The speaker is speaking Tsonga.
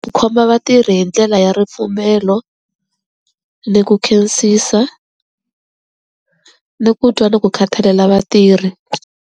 Ku khoma vatirhi hi ndlela ya ripfumelo ni ku khensisa ni ku twa ni ku khathalela vatirhi.